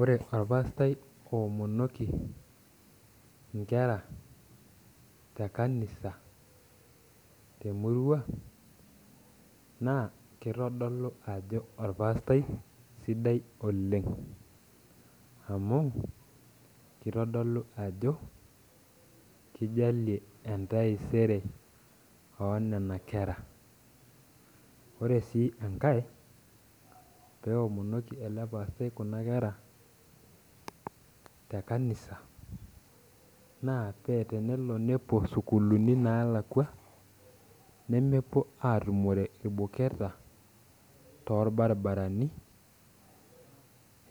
Ore orpaastae oomonoki nkera tekanisa temurua na kitodolu ajo orpaastaj sidai oleng amu kitodolu ajo kijalie entaiesere onona kera ore si enkaepeomonoki elepastai kuna kera na tenelobnepuo sukulini nalakwa nemepuo atumore lduketa torbaribarani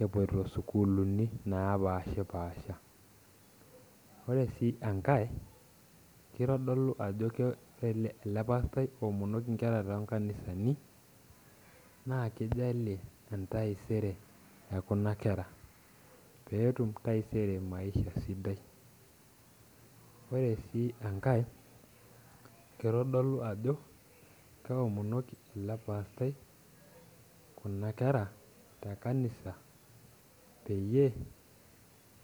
epoito sukulini napashipasha ore si enkae ore ele pastaj oomonoki nkera tonkanisani na kijalie entaiesere ekuna kera petum taisere, ore si enkae kitadolu ajo keomonoki ele pasatj nkera tekanisa peyie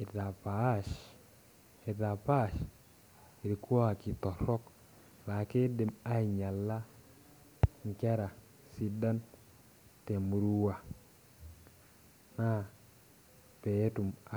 epaash rkuaki torok laakidim ainyala nkera sidan temurua na petum.